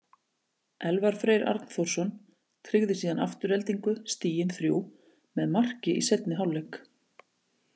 Elvar Freyr Arnþórsson tryggði síðan Aftureldingu stigin þrjú með marki í seinni hálfleik.